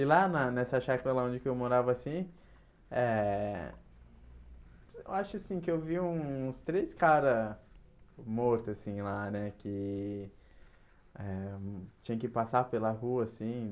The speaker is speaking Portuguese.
E lá na nessa chácara lá onde que eu morava assim, eh eu acho assim que eu vi uns três caras mortos assim lá né, que eh tinham que passar pela rua assim.